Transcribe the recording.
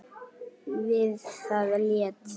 Við það lét